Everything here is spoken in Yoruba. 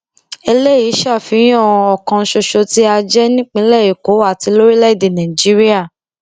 eléyìí ń ṣàfihàn ọkan ṣoṣo tá a jẹ nípìnlẹ èkó àti lórílẹèdè nàìjíríà